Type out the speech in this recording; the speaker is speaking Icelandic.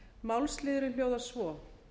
málsliðurinn hljóðar svo